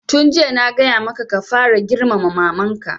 Tun jiya na gaya maka ka fara girmama maman ka!